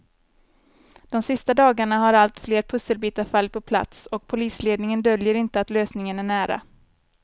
De sista dagarna har allt fler pusselbitar fallit på plats och polisledningen döljer inte att lösningen är nära.